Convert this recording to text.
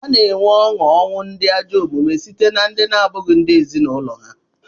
A na-enwe onu ọnwụ ndị ajọ omume site na ndị na-abụghị ndị ezinụlọ ha.